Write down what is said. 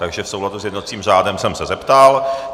Takže v souladu s jednacím řádem jsem se zeptal.